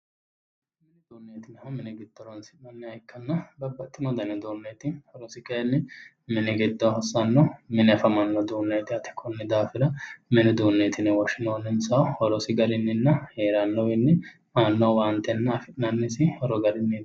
mini uduunneeti yinannihu mini giddo horoonsi'nanniha ikkanna babbaxxino dani uduunneeti horosi kayinni mini giddo hossanno mine afamanno uduunneeti yaate konni daafira mini uduunneeti yine woshshinoyisihu horosi garinninna heerannowiinninna afi'nannisi horo garinniiti.